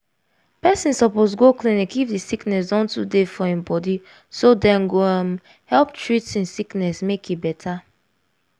person suppose go clinic if the sickness don too they for im bodyso dem go um help am treat i'm sickness make e better